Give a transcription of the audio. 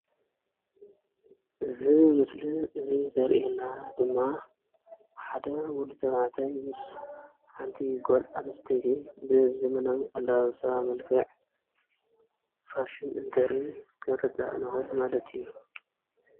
እዚ ምስሊ እዚ ዘሪኢና ድማ ሓደ ወዲ ተባዕታይ ምስ ምስ ሓንቲ ጓል አንስተይቲ ብዘመናዊ አለባበሳ መልክዕ ፋሽን ትሪኢ ክንርዳእ ንክእል ማለት እዩ፡፡